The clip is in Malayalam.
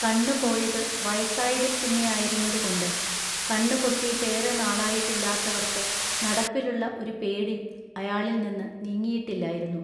കണ്ണു പോയത് വയസ്സായതിൽ പിന്നെയായിരുന്നതുകൊണ്ട് കണ്ണുപൊട്ടിട്ടേറെ നാളായിട്ട് ഇല്ലാത്തവർക്ക് നടപ്പിലുള്ള ഒരു പേടി അയാളിൽനിന്ന് നീങ്ങിയിട്ടില്ലായിരുന്നു.